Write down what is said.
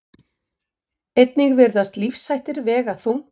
Einnig virðast lífshættir vega þungt.